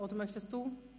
Oder möchten Sie?